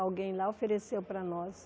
Alguém lá ofereceu para nós.